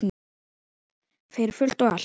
Fyrir fullt og allt.